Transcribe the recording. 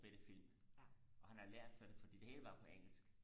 bitte film og han har lært sig det fordi det hele var på engelsk